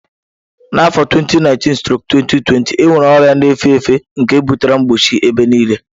Na afọ 2019/2020 enwere ọrịa na-efe efe nke butere mkpọchi ebe nile.